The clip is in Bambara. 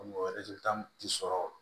Mɔgɔ ti sɔrɔ